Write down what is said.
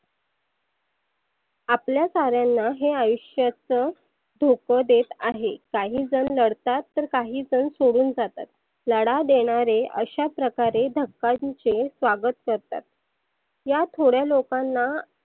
आपल्या साऱ्यांना हे आयुष्याच धोप देत आहे. काही जन नडतात तर काही जन सोडून जातात. तडा देणारे अशा प्रकारे धकांचे स्वागत करतात. या थोड्या लोकांना.